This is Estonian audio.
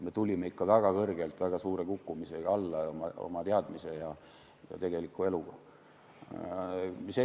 Me tulime ikka väga kõrgelt väga suure kukkumisega alla oma teadmistega ja tegeliku elu tõttu.